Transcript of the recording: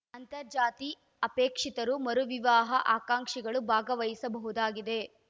ಅಂತರ್ ಜಾತಿ ಅಪೇಕ್ಷಿತರು ಮರು ವಿವಾಹ ಆಕಾಂಕ್ಷಿಗಳು ಭಾಗವಹಿಸಬಹುದಾಗಿದೆ